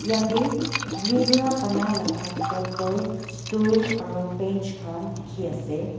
yatae khuri para banailaka table stool aro bench khan dikhiase.